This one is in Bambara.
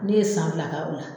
Ne ye san fila kɛ o la.